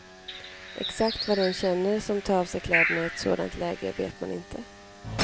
Exakt vad den känner som tar av sig kläderna i ett sådant läge vet man inte.